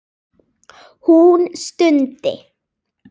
Hún stundi.